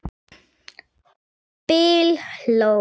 Bill hló.